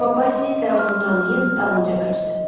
Amma Vasil də onu tanıyıb dalınca qaçdı.